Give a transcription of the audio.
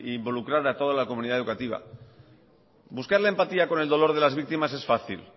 involucrar a toda la comunidad educativa buscar la empatía con el dolor de las víctimas es fácil